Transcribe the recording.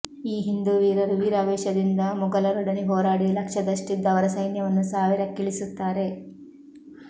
ಈ ಹಿಂದೂ ವೀರರು ವೀರಾವೇಶದಿಂದ ಮುಗಲರೊಡನೆ ಹೋರಾಡಿ ಲಕ್ಷದಷ್ಟಿದ್ದ ಅವರ ಸೈನ್ಯವನ್ನು ಸಾವಿರಕ್ಕಿಳಿಸುತ್ತಾರೆ